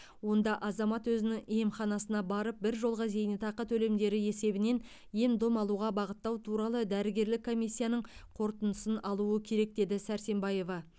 онда азамат өзінің емханасына барып біржолғы зейнетақы төлемдері есебінен ем дом алуға бағыттау туралы дәрігерлік комиссияның қорытындысын алуы керек деді сәрсенбаева